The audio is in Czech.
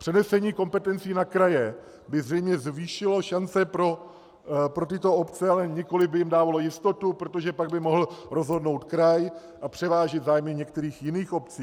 Přenesení kompetencí na kraje by zřejmě zvýšilo šance pro tyto obce, ale nikoliv by jim dávalo jistotu, protože pak by mohl rozhodnout kraj a převážit zájmy některých jiných obcí.